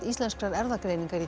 Íslenskrar erfðagreiningar